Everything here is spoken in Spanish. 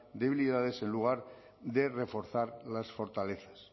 debilidades en lugar de reforzar las fortalezas